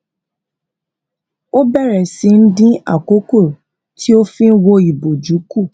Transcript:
ó bẹrẹ sí í dín àkókò tó fi n wo iboju kù